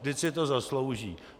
Vždyť si to zaslouží.